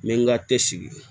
N bɛ n ka te sigi